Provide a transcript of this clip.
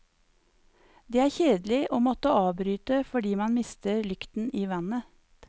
Det er kjedelig å måtte avbryte fordi man mister lykten i vannet.